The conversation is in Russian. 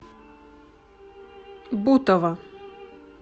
бутово